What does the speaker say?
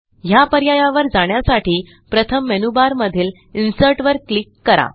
ह्या पर्यायावर जाण्यासाठी प्रथम मेनूबारमधील इन्सर्ट वर क्लिक करा